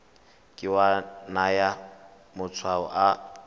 ke wa naya matshwao a